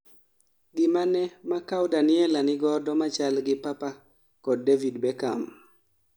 gimane ma Kaw Daniella nigodo machal gi papa kod David Beckham?